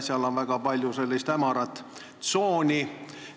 Seal on väga palju hämarat tsooni.